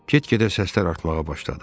Get-gedə səslər artmağa başladı.